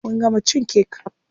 Mun gama cin kek.